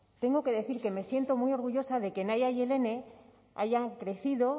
tengo que decir que me siento muy orgullosa de que nahia y elene hayan crecido